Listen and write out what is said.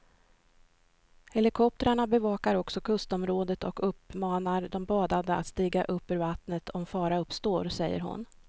Helikoptrarna bevakar också kustområdet och uppmanar de badande att stiga upp ur vattnet om fara uppstår, säger hon.